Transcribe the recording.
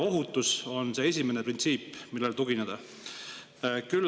Ohutus on esimene printsiip, millele tugineda.